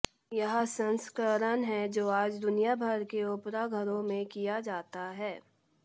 यह संस्करण है जो आज दुनिया भर में ओपेरा घरों में किया जाता है